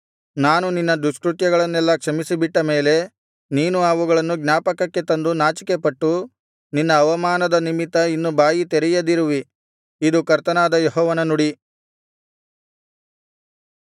ನಾನು ನಿನ್ನ ದುಷ್ಕೃತ್ಯಗಳನ್ನೆಲ್ಲಾ ಕ್ಷಮಿಸಿಬಿಟ್ಟ ಮೇಲೆ ನೀನು ಅವುಗಳನ್ನು ಜ್ಞಾಪಕಕ್ಕೆ ತಂದು ನಾಚಿಕೆಪಟ್ಟು ನಿನ್ನ ಅವಮಾನದ ನಿಮಿತ್ತ ಇನ್ನು ಬಾಯಿ ತೆರೆಯದಿರುವಿ ಇದು ಕರ್ತನಾದ ಯೆಹೋವನ ನುಡಿ